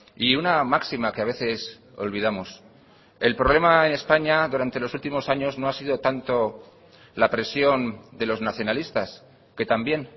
y una máxima que a veces olvidamos el problema en españa durante los últimos años no ha sido tanto la presión de los nacionalistas que también